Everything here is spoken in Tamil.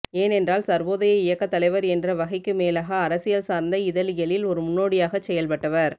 ஏனென்றால் சர்வோதய இயக்கத்தலைவர் என்ற வகைக்கு மேலாக அரசியல் சார்ந்த இதழியலில் ஒரு முன்னோடியாகச் செயல்பட்டவர்